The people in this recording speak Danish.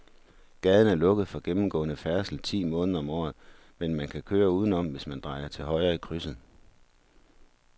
Gaden er lukket for gennemgående færdsel ti måneder om året, men man kan køre udenom, hvis man drejer til højre i krydset.